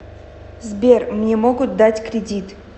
сбер мне могут дать кридит